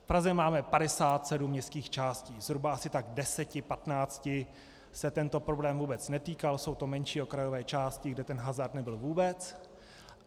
V Praze máme 57 městských částí, zhruba asi 10, 15 se tento problém vůbec netýkal, jsou to menší okrajové části, kde ten hazard nebyl vůbec.